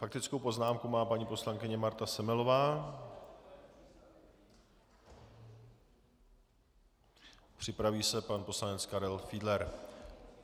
Faktickou poznámku má paní poslankyně Marta Semelová, připraví se pan poslanec Karel Fiedler.